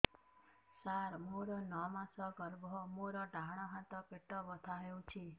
ସାର ମୋର ନଅ ମାସ ଗର୍ଭ ମୋର ଡାହାଣ ପାଖ ପେଟ ବଥା ହେଉଛି